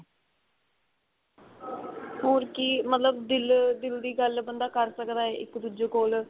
ਹੋਰ ਕੀ ਮਤਲਬ ਦਿਲ ਦਿਲ ਦੀ ਗੱਲ ਬੰਦਾ ਕ਼ਰ ਸਕਦਾ ਇੱਕ ਦੂਜੇ ਕੋਲ